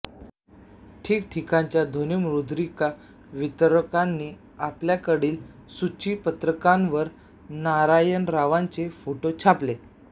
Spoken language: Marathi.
ठिकठिकाणच्या ध्वनिमुद्रिका वितरकांनी आपल्याकडील सूचीपत्रकांवर नारायणरावांचे फोटो छापले